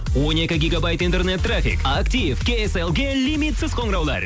он екі гегабайт интернет трафик актив кейселге лимитсіз қоңыраулар